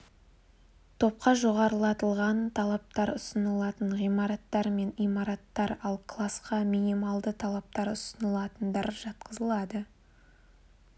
топқа жоғарылатылған талаптар ұсынылатын ғимараттар мен имараттар ал класқа минималды талаптар ұсынылатындар жатқызылады